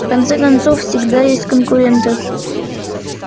в конце концов всегда есть конкуренты